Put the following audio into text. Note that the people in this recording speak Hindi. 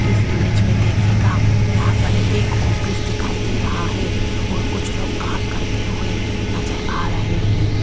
इस इमेज में देखिएगा यहां पर एक ऑफिस दिखाई दे रहा है और कुछ लोग काम करते हुए नजर आ रहे हैं।